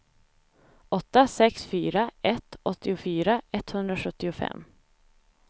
åtta sex fyra ett åttiofyra etthundrasjuttiofem